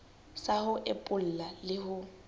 sa ho epolla le ho